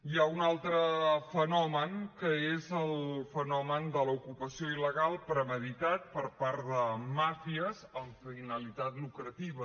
hi ha un altre fenomen que és el fenomen de l’ocupació il·legal premeditat per part de màfies amb finalitat lucrativa